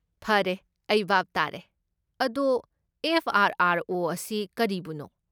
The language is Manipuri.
ꯐꯔꯦ, ꯑꯩ ꯚꯥꯞ ꯇꯥꯔꯦ꯫ ꯑꯗꯣ, ꯑꯦꯐ. ꯑꯥꯔ. ꯑꯥꯔ. ꯑꯣ. ꯑꯁꯤ ꯀꯔꯤꯕꯨꯅꯣ?